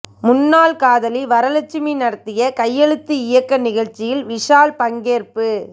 முன்னாள் காதலி வரலட்சுமி நடத்திய கையெழுத்து இயக்க நிகழ்ச்சியில் விஷால் பங்கேற்பு